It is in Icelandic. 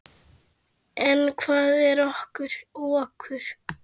En hvað er okur?